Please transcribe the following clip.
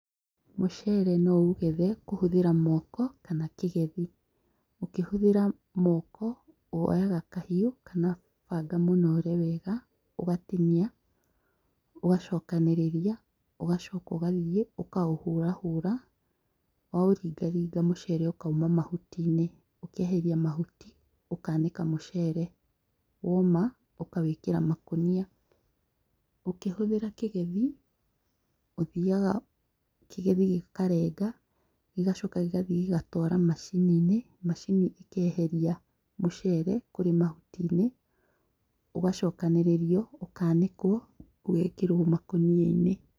Mũcere noũũgethe, kũhũthĩra moko, kana kĩgethi. Ũkĩhũthĩra moko, woyaga kahiũ kana banga mũnoore wega, ũgatinia, ũgacokanĩrĩria, ũgacoka ũgathĩĩ ũkaũhũrahũra, waũringaringa mũcere ũkauma mahuti-inĩ. Ũkeheria mahuti ũkanĩka mũcere. Woma, ũkawĩkĩra makũnia. Ũkĩhũthĩra kĩgethi, ũthiaga kĩgethi gĩkarenga, gĩgacoka gĩgathiĩ gĩgatwara macini-inĩ, macini ĩkeheria mũcere kũrĩ mahuti-inĩ, ũgacokanĩrĩrio, ũkanĩkwo, ũgekĩrwo makũnia-inĩ.